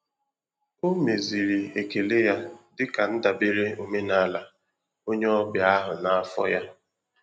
O meziri ekele ya dịka ndabere omenala onye ọbịa ahụ na afọ ya.